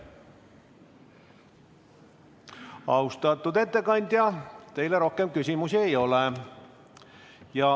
Austatud ettekandja, teile rohkem küsimusi ei ole.